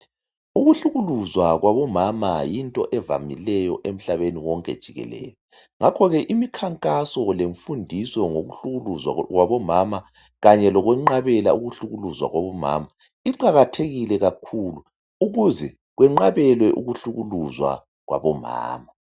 Ukuhlukuluzwa kwabomama yinto evamileyo emhlabeni wonke jikekele. Ngakho ike imikhankaso lemfundiso ngokuhlukuluzwa kwabomama, kanye lokwenqabela ukuhlukukuzwa jwabomama, iqakathekile kakhulu. Ukuze kwenqatshelwe ukuhlukuluzwa kwabomama.